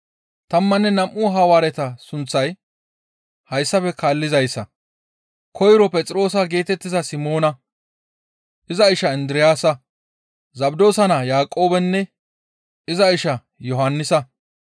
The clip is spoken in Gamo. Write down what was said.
Tammanne nam7u Hawaareta sunththay hayssafe kaallizayssa; koyroy Phexroosa geetettiza Simoona, iza ishaa Indiraasa, Zabdoosa naa Yaaqoobenne iza ishaa Yohannisa,